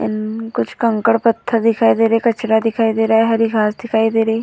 And कुछ कंकड़-पत्थर दिखाई दे रहे कचरा दिखाई दे रहा हरी घास दिखाई दे रही।